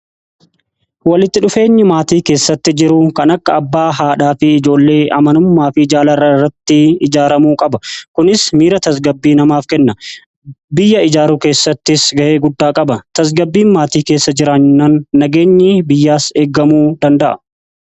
walitti dhufeenyi maatii keessatti jiru kan akka abbaa haadhaa fi ijoollee amanummaa fi jaalala irratti ijaaramuu qaba. kunis miira tasgabbii namaaf kenna. biyya ijaaru keessattis gahee guddaa qaba. tasgabbiin maatii keessa jiraannaan nageenyi biyyaas eeggamuu danda'a.